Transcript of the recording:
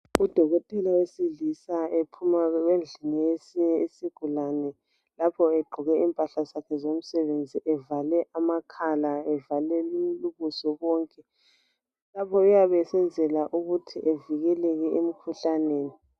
Udokotela wesilisa ephuma endlini yesigulane lapho egqoke impahla zakhe zomsebenzi evale amakhala evale ubuso bonke. Lapho uyabe esenzela ukuthi evikeleke emikhuhlaneni.